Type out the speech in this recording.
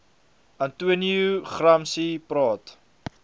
antonio gramsci praat